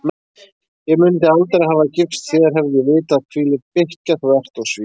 Ég mundi aldrei hafa gifst þér hefði ég vitað hvílík bikkja þú ert og svín